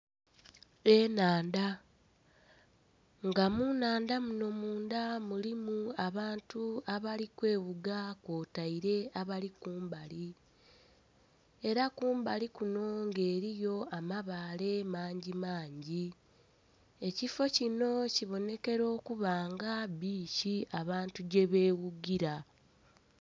Enhandha, nga munnhandha muno mundha mulimu abantu abali kweghuga okwotaire abali kumbali era kumbali kuno nga eriyo amabaale mangimangi, ekifoo kino kiboonekera okuba nga biiki abantu gyebeghugira.